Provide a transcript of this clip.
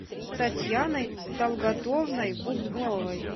татьяной талгатовной бубновой